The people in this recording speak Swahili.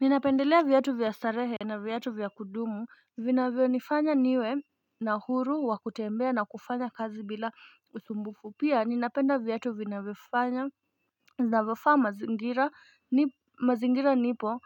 Ninapendelea viatu vya starehe na viatu vya kudumu vinavyonifanya niwe na uhuru wa kutembea na kufanya kazi bila usumbufu, pia ninapenda viatu vinavyofaa mazingira mazingira nipo